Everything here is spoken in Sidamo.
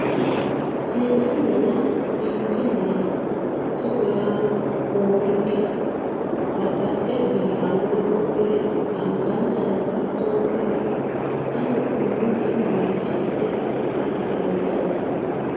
seensille yaa biinfille yaate too yaano goowinkera babbaxino biifannore wodhine angankerano hatto wodhine xaano umonkeno biifisi'ne seenseemmo garaati.